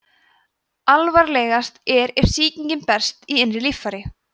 alvarlegast er ef sýkingin berst í innri líffæri